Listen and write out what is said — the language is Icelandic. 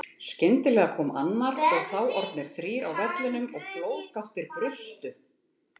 Skyndilega kom annar og þá orðnir þrír á vellinum og flóðgáttir brustu.